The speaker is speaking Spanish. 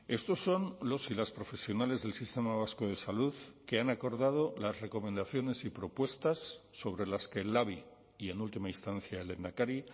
estos son los y las profesionales del sistema vasco de salud que han acordado las recomendaciones y propuestas sobre las que el labi y en última instancia el lehendakari